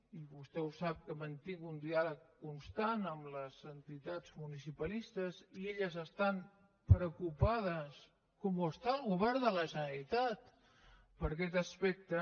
i vostè ho sap que mantinc un diàleg constant amb les entitats municipalistes i elles estan preocupades com ho està el govern de la generalitat per aquest aspecte